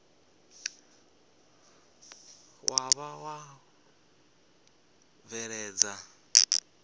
wa vha wa u bveledza